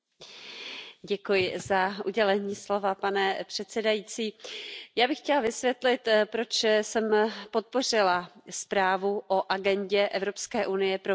Pane předsedající, já bych chtěla vysvětlit, proč jsem podpořila zprávu o agendě Evropské unie pro venkovské, horské a vzdálené oblasti.